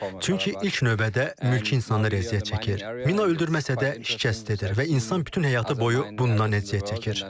Çünki ilk növbədə mülki insanlar əziyyət çəkir. Mina öldürməsə də şikəst edir və insan bütün həyatı boyu bundan əziyyət çəkir.